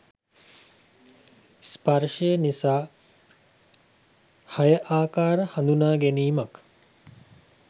ස්පර්ශය නිසා හය ආකාර හඳුනාගැනීමක්